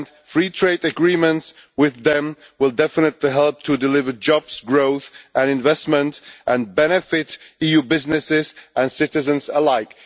Free trade agreements with them will definitely help to deliver jobs, growth and investment and will benefit EU businesses and citizens alike.